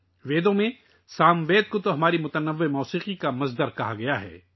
ویدوں میں ساموید کو ہماری متنوع موسیقی کا ماخذ کہا گیا ہے